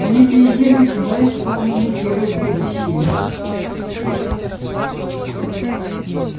они приезжали сюда исполненные веры в будущее